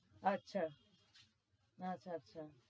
আচ্ছা আচ্ছা আচ্ছা